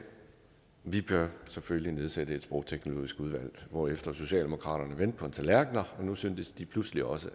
vi bør selvfølgelig nedsætte et sprogteknologisk udvalg herefter vendte socialdemokraterne på en tallerken og nu syntes de pludselig også